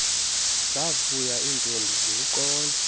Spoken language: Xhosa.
zavuya iintombi ziwuqonda